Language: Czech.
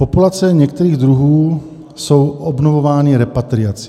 Populace některých druhů jsou obnovovány repatriací.